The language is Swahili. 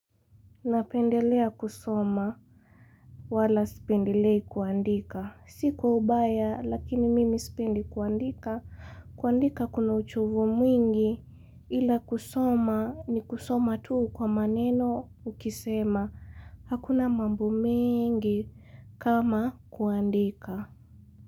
Napendelea kusoma wala sipendelei kuandika. Sikwa ubaya lakini mimi sipendi kuandika. Kuandika kuna uchovu mwingi ila kusoma ni kusoma tuu kwa maneno ukisema. Hakuna mambo mingi kama kuandika.